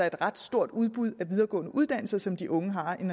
et ret stort udbud af videregående uddannelser som de unge har en